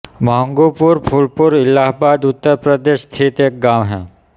महँगूपुर फूलपुर इलाहाबाद उत्तर प्रदेश स्थित एक गाँव है